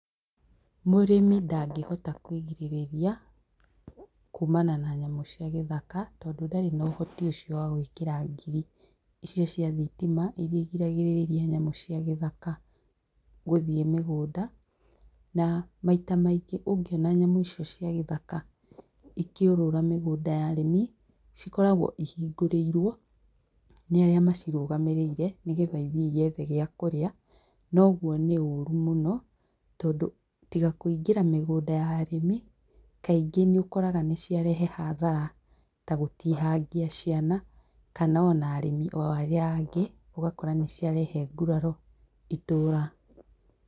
Mũrĩmi ndangĩhota kwĩgirĩrĩria kuumana na nyamũ cia gĩthaka tondũ ndari na ũhoti ũcio wa gwĩkira ngiri icio cia thitima, iria igiragĩrĩria nyamũ cia gĩthaka gũthiĩ mĩgũnda na maita maingĩ ũngĩona nyamũ icio cia gĩthaka ikĩũrũra mĩgũnda ya arĩmi, cikoragwo ihingũrĩirwo nĩ arĩa macirũgamĩrĩire nĩgetha ithiĩ cigethe gĩa kũrĩa, na ũguo nĩ ũru mũno tondũ tiga kũingĩra mĩgũnda ya arĩmi, kainggĩ nĩ ũkoraga nĩciarehe hathara ta gũtihangia ciana kana ona arĩmi o arĩa angĩ, ũgakora nĩciarehe nguraro itũra